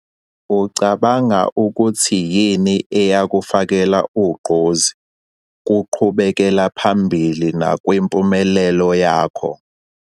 Ucabanga ukuthi yini eyakufakela ugqozi kungqubekelaphambili nakwimpumelelo yakho?